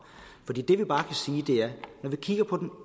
den